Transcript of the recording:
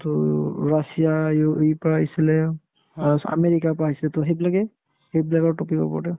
to ৰাছিয়া, ইউ ~ ইউৰোপৰ পৰা আহিছিলে last আমেৰিকাৰ পৰা আহিছিলে to সেইবিলাকে সেইবিলাকৰ topic ৰ ওপৰতে